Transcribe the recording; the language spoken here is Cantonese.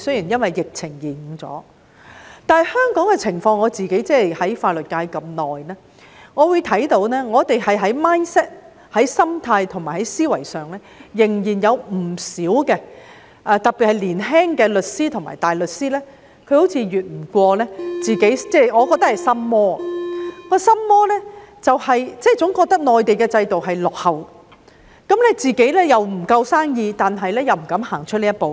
然而，對於香港的情況，我自己在法律界這麼久，看到我們在 mindset 和思維上仍有不少障礙；特別是年輕的律師和大律師，我覺得他們好像跨不過自己的心魔，總覺得內地的制度落後，但自己生意不夠，又不敢踏出這一步。